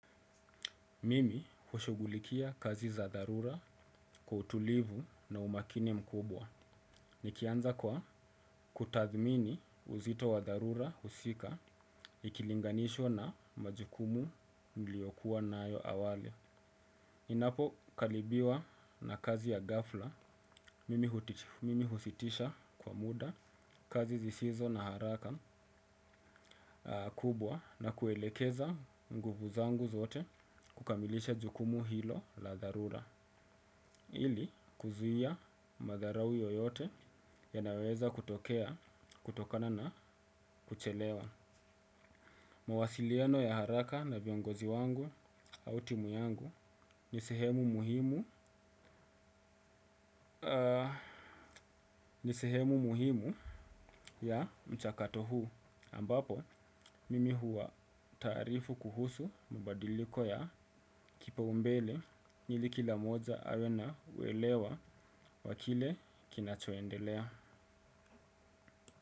Mimi hushughulikia kazi za dharura kwa utulivu na umakini mkubwa. Nikianza kwa kutathmini uzito wa dharura husika ikilinganishwa na majukumu niliyokuwa nayo awali ninapo kalibiwa na kazi ya ghafla, mimi husitisha kwa muda kazi zisizo na haraka kubwa na kuelekeza nguvu zangu zote kukamilisha jukumu hilo la dharura. Ili kuzuia madharau yoyote yanayoweza kutokea kutokana na kuchelewa mawasiliano ya haraka na viongozi wangu au timu yangu ni sehemu muhimu ya mchakato huu ambapo mimi huwa taarifu kuhusu mabadiliko ya kipaombele ili kila mmoja awe na uelewa wa kile kinachoendelea.